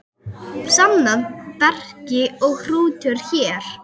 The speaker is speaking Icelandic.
Samnöfn bekri og hrútur hér.